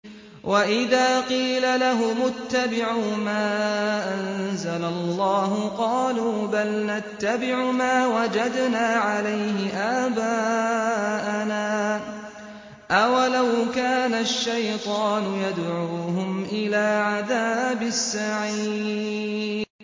وَإِذَا قِيلَ لَهُمُ اتَّبِعُوا مَا أَنزَلَ اللَّهُ قَالُوا بَلْ نَتَّبِعُ مَا وَجَدْنَا عَلَيْهِ آبَاءَنَا ۚ أَوَلَوْ كَانَ الشَّيْطَانُ يَدْعُوهُمْ إِلَىٰ عَذَابِ السَّعِيرِ